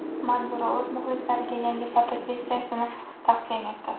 Manzura o‘z muxlislariga yangi fotosessiyasini taqdim etdi .